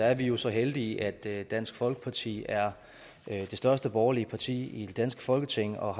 er vi vi så heldige at dansk folkeparti er det største borgerlige parti i det danske folketing og